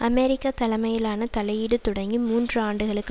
America தலைமையிலான தலையீடு தொடங்கி மூன்று ஆண்டுகளுக்கு